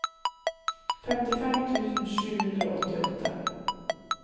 femtifem tusen sju hundre og åttiåtte